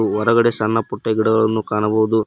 ಹೊರಗಡೆ ಸಣ್ಣ ಪುಟ್ಟ ಗಿಡಗಳನ್ನು ಕಾಣಬಹುದು.